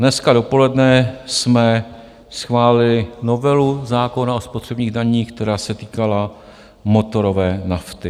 Dneska dopoledne jsme schválili novelu zákona o spotřebních daních, která se týkala motorové nafty.